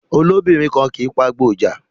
Olóbìnrin kan kì í pagbo ìja